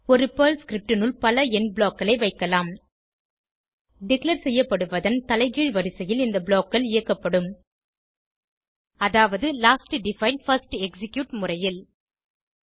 ஒரு Perl script னுள் பல எண்ட் ப்ளாக் களை வைக்கலாம் டிக்ளேர் செய்யப்படுவதன் தலைகீழ் வரிசையில் இந்த blockகள் இயக்கப்படும் அதாவது லாஸ்ட் டிஃபைன் பிர்ஸ்ட் எக்ஸிக்யூட் முறையில்